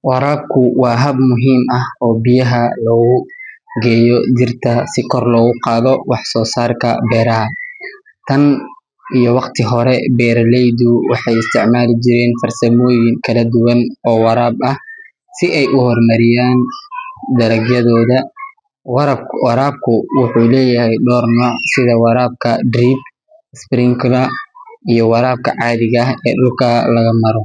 Waraabku waa hab muhiim ah oo biyaha loogu geeyo dhirta si kor loogu qaado wax-soosaarka beeraha. Tan iyo waqti hore, beeraleydu waxay isticmaali jireen farsamooyin kala duwan oo waraab ah si ay u horumariyaan dalagyadooda. Waraabku wuxuu leeyahay dhowr nooc sida waraabka drip, sprinkler iyo waraabka caadiga ah ee dhulka laga maro.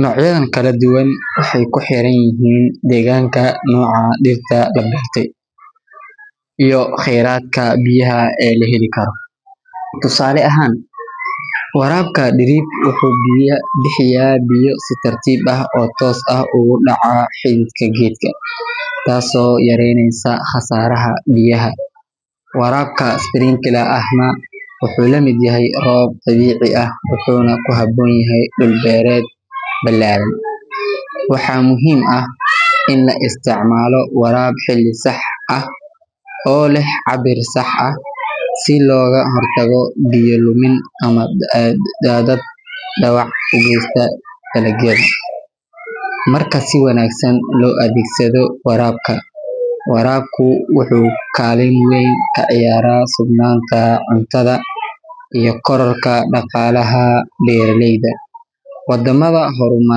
Noocyadan kala duwan waxay ku xiran yihiin deegaanka, nooca dhirta la beertay, iyo kheyraadka biyaha ee la heli karo. Tusaale ahaan, waraabka drip wuxuu bixiyaa biyo si tartiib ah oo toos ah ugu dhaca xididka geedka, taasoo yareyneysa khasaaraha biyaha. Waraabka sprinkler ahna wuxuu la mid yahay roob dabiici ah, wuxuuna ku habboon yahay dhul beereed ballaaran. Waxaa muhiim ah in la isticmaalo waraab xilli sax ah oo leh cabbir sax ah, si looga hortago biyo-lumin ama daadad dhaawac u geysta dalagyada. Marka si wanaagsan loo adeegsado, waraabku wuxuu kaalin weyn ka ciyaaraa sugnaanta cuntada iyo kororka dhaqaalaha beeraleyda. Waddamada horumaray.